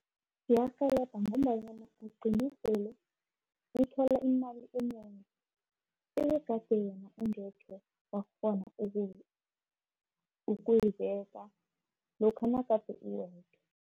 Iyarhelebha, ngombanyana ugcine sele uthola imali enengi ebegade ungekhe wakghona ukuyibeka lokha nagade uwendwa.